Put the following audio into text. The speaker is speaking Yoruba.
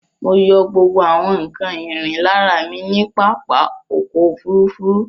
Mọ yọ gbógbó àwon nkán ìrìn l'ára mí ní pápá ọkọ̀ òfurufú.